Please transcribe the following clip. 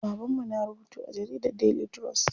Baban mu na rubutu a jaridar Daily trust.